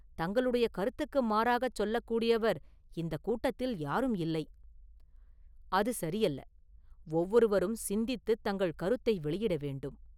தங்களுடைய கருத்துக்கு மாறாகச் சொல்லக் கூடியவர் இந்தக் கூட்டத்தில் யாரும் இல்லை.” “அது சரியல்ல, ஒவ்வொருவரும் சிந்தித்துத் தங்கள் கருத்தை வெளியிட வேண்டும்.